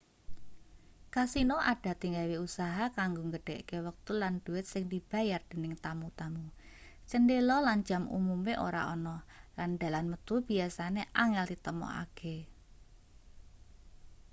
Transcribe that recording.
kasino adate gawe usaha kanggo nggedhekke wektu lan dhuwit sing dibayar dening tamu-tamu cendhela lan jam umume ora ana lan dalan metu biyasane angel ditemokake